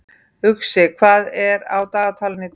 Uxi, hvað er á dagatalinu í dag?